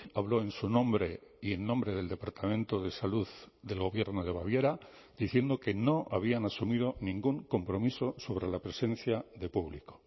habló en su nombre y en nombre del departamento de salud del gobierno de baviera diciendo que no habían asumido ningún compromiso sobre la presencia de público